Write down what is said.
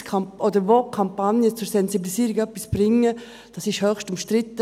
Wo Kampagnen zur Sensibilisierung etwas bringen, das ist höchst umstritten.